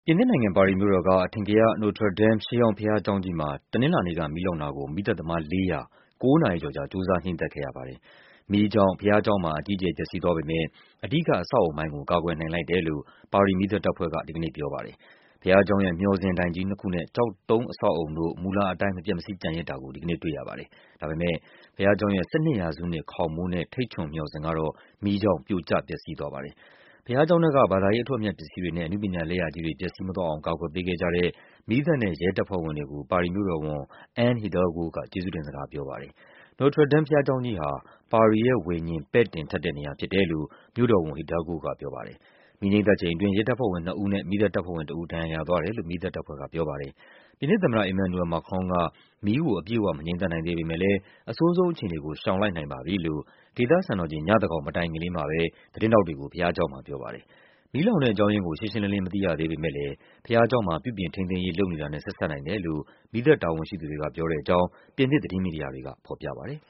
ပြင်သစ်နိုင်ငံ၊ ပါရီမြို့တော်က အထင်ကရ Notre Dame ရှေးဟောင်းဘုရားကျောင်းကြီးမှာ တနင်္လာနေ့က မီးလောင်တာကို မီးသတ်သမား ၄၀၀ ကိုးနာရီကျော်ကြာ ကြိုးစား ငြိမ်းသတ်ခဲ့ရပါတယ်။ မီးကြောင့် ဘုရားကျောင်းမှာ အကြီးအကျယ် ပျက်စီးသွားပေမယ့် အဓိက အဆောက်အအုံပိုင်းကို ကာကွယ်နိုင်လိုက်တယ်လို့ ပါရီ မီးသတ်တပ်ဖွဲ့က ဒီကနေ့ပြောပါတယ်။ ဘုရားကျောင်းရဲ့ မျှော်စင်တိုင်ကြီးနှစ်ခုနဲ့ ကျောက်တုံးအဆောက်အအုံတို့ မူလအတိုင်း မပျက်မစီးကျန်ရစ်တာကို ဒီကနေ့တွေ့ရပါ တယ်။ ဒါပေမယ့် ဘုရားကျောင်းရဲ့ ၁၂ ရာစုနှစ် ခေါင်မိုးနဲ့ ထိပ်ချွန်မျှော်စင်ကတော့ မီးကြောင့် ပြိုကျပျက်စီးသွားပါတယ်။ ဘုရားကျောင်းထဲက ဘာသာရေးအထွဋ်အမြတ် ပစ္စည်းတွေနဲ့ အနုပညာလက်ရာကြီးတွေ ပျက်စီးမသွားအောင် ကာကွယ်ပေးခဲ့ ကြတဲ့ မီးသတ်နဲ့ရဲ တပ်ဖွဲ့ဝင်တွေကို ပါရီမြို့တော်ဝန် Anne Hidalgo က ကျေးဇူးတင်စကားပြောပါတယ်။ Notre Dame ဘုရားကျောင်းကြီးဟာ “ပါရီရဲ့ဝိညာဉ် ပဲ့တင်ထပ်” တဲ့နေရာဖြစ်တယ်လို့ မြို့တော်ဝန် Hidalgo ကပြောပါတယ်။ မီးငြိမ်းသတ်ချိန်အတွင်း ရဲတပ်ဖွဲ့ဝင်နှစ်ဦးနဲ့ မီးသတ်တပ်ဖွဲ့ဝင်တဦး ဒဏ်ရာရသွားတယ်လို့ မီးသတ်တပ်ဖွဲ့က ပြောပါတယ်။ ပြင်သစ်သမ္မတ Emmanuel Macron က “မီးကို အပြည့်အဝ မငြိမ်းသတ်နိုင်သေးပေမယ့်လည်း အဆိုးဆုံးအခြေအနေကို ရှောင်လိုက်နိုင်ပါပြီ” လို့ ဒေသစံတော်ချိန် ညသန်းခေါင်မတိုင်ခင်လေးမှာပဲ သတင်းထောက်တွေကို ဘုရားကျောင်းမှာပြောပါ တယ်။ မီးလောင်တဲ့အကြောင်းရင်းကို ရှင်းရှင်းလင်းလင်း မသိရသေးပေမယ့်လည်း ဘုရားကျောင်းမှာ ပြုပြင်ထိန်းသိမ်းရေး လုပ်နေတာနဲ့ ဆက်စပ်နိုင်တယ်လို့ မီးသတ်တာဝန်ရှိသူတွေက ပြောတဲ့အကြောင်း ပြင်သစ်သတင်းမီဒီယာတွေက ဖော်ပြပါတယ်